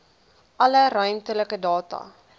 alle ruimtelike data